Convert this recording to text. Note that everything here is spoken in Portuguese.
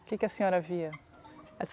O que que a senhora via?